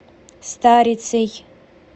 старицей